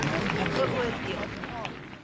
beoor deel de